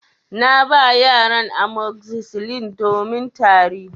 Na ba yaran amoxicillin domin Tari.